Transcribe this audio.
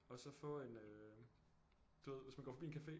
Og så få en du ved hvis man går forbi en café